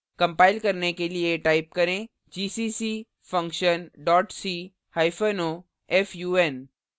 compile करने के लिए type करें gcc function dot c hyphen o fun